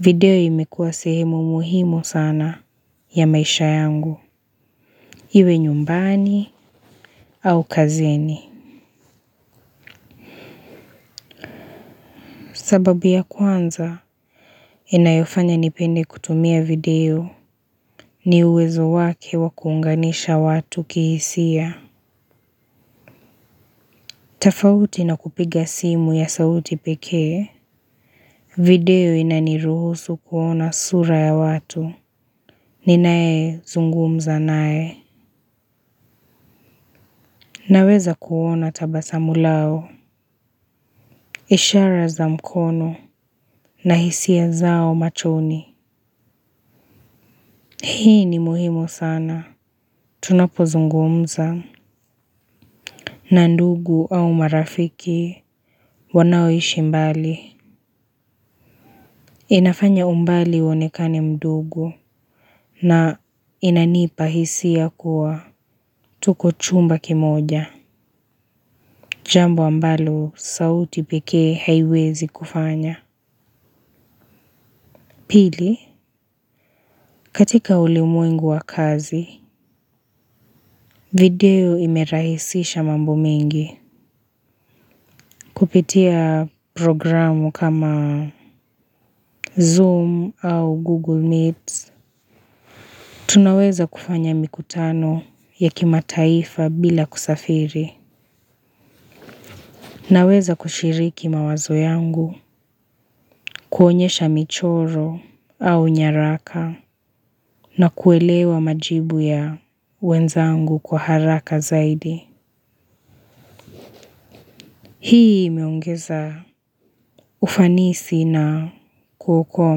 video imekuwa sehemu muhimu sana ya maisha yangu. Iwe nyumbani au kazini. Sababu ya kwanza, inayofanya nipende kutumia video ni uwezo wake wa kuunganisha watu kihisia. Tafauti na kupiga simu ya sauti pekee, video inaniruhusu kuona sura ya watu. Ninae zungumza nae. Naweza kuona tabasamu lao. Ishara za mkono na hisia zao machoni. Hii ni muhimu sana. Tunapozungumza na ndugu au marafiki wanaoishi mbali inafanya umbali uonekane mdogo na inanipa hisia kuwa tuko chumba kimoja. Jambo ambalo sauti pekee haiwezi kufanya. Pili, katika ulimwengu wa kazi, video imerahisisha mambo mengi. Kupitia programu kama Zoom au Google Meets. Tunaweza kufanya mikutano ya kimataifa bila kusafiri. Naweza kushiriki mawazo yangu, kuonyesha michoro au nyaraka na kuelewa majibu ya wenzangu kwa haraka zaidi. Hii imeongeza ufanisi na kuokoa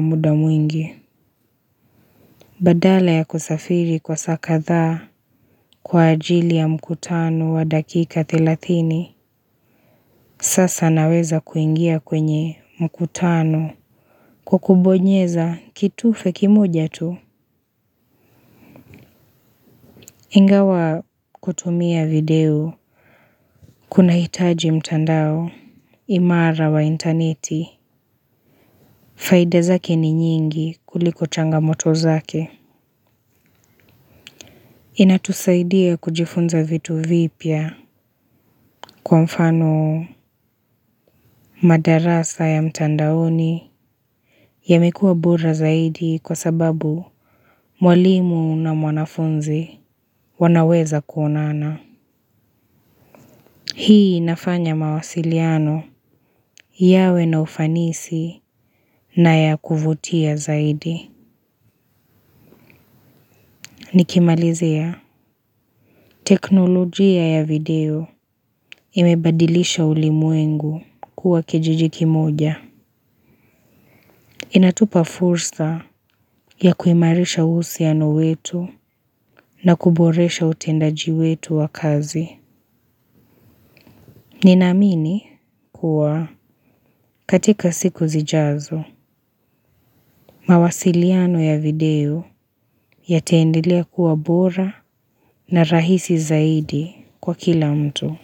muda mwingi. Badala ya kusafiri kwa saa kadhaa kwa ajili ya mkutano wa dakika thelathini sasa naweza kuingia kwenye mkutano kwa kubonyeza kitufe kimoja tu. Ingawa kutumia video kunahitaji mtandao imara wa intaneti faida zake ni nyingi kuliko changamoto zake. Inatusaidia kujifunza vitu vipya kwa mfano madarasa ya mtandaoni yamekuwa bora zaidi kwa sababu mwalimu na mwanafunzi wanaweza kuonana. Hii inafanya mawasiliano yawe na ufanisi na ya kuvutia zaidi. Nikimalizia teknolojia ya video imebadilisha ulimwengu kuwa kijiji kimoja. Inatupa fursa ya kuimarisha uhusiano wetu na kuboresha utendaji wetu wa kazi. Ninaamini kuwa katika siku zijazo mawasiliano ya video yataendelea kuwa bora na rahisi zaidi kwa kila mtu.